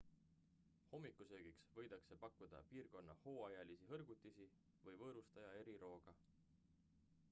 hommikusöögiks võidakse pakkuda piirkonna hooajalisi hõrgutisi või võõrustaja erirooga